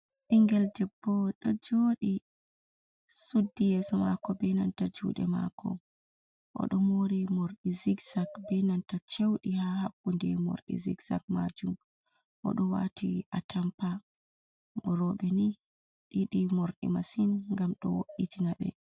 Bingel debbo do jodi suddi yeso mako be nanta jude mako odo mori mordi zixzak be nanta chewdi ha habbunde mordi zixzak majum odo wati a tampa robe ni ɗidi mordi masin gam do wo’itina be.